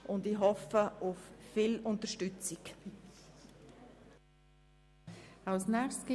Ich hoffe nun auf eine grosse Unterstützung für diese Motion.